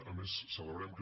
a més celebrem que